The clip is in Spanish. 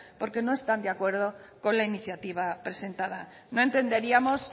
porque no están de acuerdo con la iniciativa presentada no entenderíamos